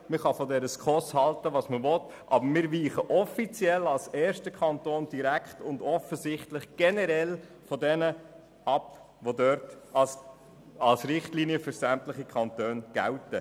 Man kann von der SKOS halten, was man will, aber wir weichen als erster Kanton offiziell, direkt und offensichtlich generell von jenen Richtlinien ab, die für sämtliche Kantone gelten.